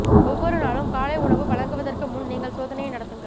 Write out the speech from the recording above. ஒவ்வொரு நாளும் காலை உணவு வழங்குவதற்கு முன் நீங்கள் சோதனையை நடத்துங்கள்